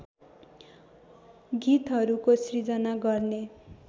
गीतहरूको सिर्जना गर्ने